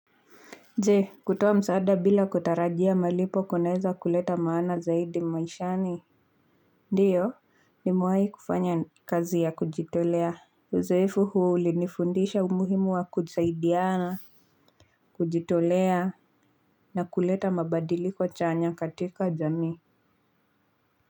Je, kutoa msaada bila kutarajia malipo kunaweza kuleta maana zaidi maishani? Ndio, nimewahi kufanya kazi ya kujitolea. Uzoefu huu ulinifundisha umuhimu wa kusaidiana. Kujitolea na kuleta mabadiliko chanya katika jamii.